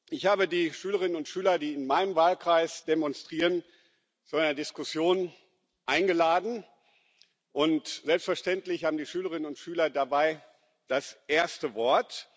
Ich habe die Schülerinnen und Schüler, die in meinem Wahlkreis demonstrieren, zu einer Diskussion eingeladen, und selbstverständlich haben die Schülerinnen und Schüler dabei das erste Wort.